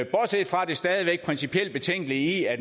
bortset fra det stadig væk principielt betænkelige i at